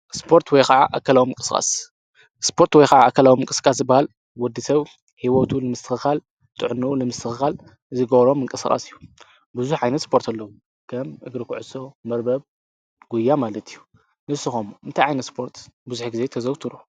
ስርትይዓኣዎም ቅስ ስጶርት ወይከዓ ኣከልዎም ቅስቃስ ባል ወዲ ሰው ሕይወቱ ምስትኻል ጥዕኑኡ ለምስትኻል ዚጐብሮም እንቅሥቓስ እዩ ብዙኅ ዓይነት ስጶርትለዉ ከም እግሪ ክዕሶ መርበብ ጕያ ማለት እዩ ንስኾም እንቲይ ዓይነ ስጶርት ብዙኅ ጊዜ ተዘውትሩ።